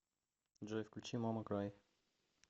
джой включи мама край